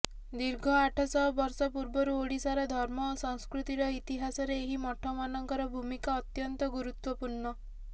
ଦୀର୍ଘ ଆଠଶହ ବର୍ଷ ପୂର୍ବରୁ ଓଡ଼ିଶାର ଧର୍ମ ଓ ସଂସ୍କୃତିର ଇତିହାସରେ ଏହି ମଠମାନଙ୍କର ଭୂମିକା ଅତ୍ୟନ୍ତ ଗୁରୁତ୍ୱପୂର୍ଣ୍ଣ